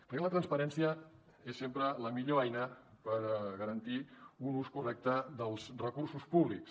perquè la transparència és sempre la millor eina per garantir un ús correcte dels recursos públics